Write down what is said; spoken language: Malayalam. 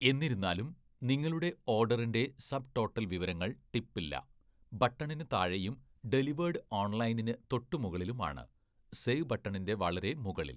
എന്നിരുന്നാലും, നിങ്ങളുടെ ഓഡറിൻ്റെ സബ്ടോട്ടൽ വിവരങ്ങൾ ടിപ്പ് ഇല്ല ബട്ടണിന് താഴെയും ഡെലിവേഡ് ഓൺലൈനിന് തൊട്ടുമുകളിലും ആണ്, സേവ് ബട്ടണിൻ്റെ വളരെ മുകളിൽ.